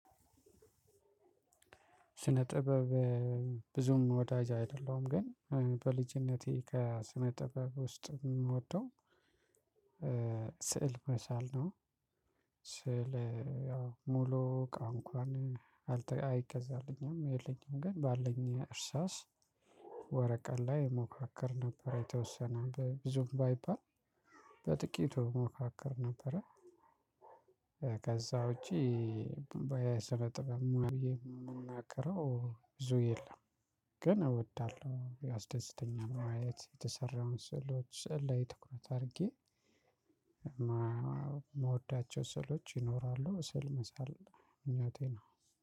ስነ ጥበብ ብዙም ወዳጅ አይደለሁም ግን በልጅነቴ ከስነ ጥበብ ውስጥ የምወደው ስዕል መሳል ነው። ስዕል ያው ሙሉ ቃን እንኳን አይገዛልኝም የለኝም ግን ባለኝ እርሳስ ወረቀት ላይ ሞካክር ነበር የተወሰነ ብዙም ባይባል በጥቂቱ ሞካክር ነበረ። ከዛ ውጪ የስነጥበብ ሙያ የምናገረው ብዙ የለም። ግን እወዳለሁ የስደስታኛል ማየት የተሰራውን ስዕሎች ስዕል ላይ ትኩረት አድርጌ ምወዳቸው ስዕሎች ይኖራሉ ስዕል መሳል ምኞቴ ነው።